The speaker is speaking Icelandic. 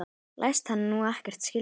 Læst hann nú ekkert skilja?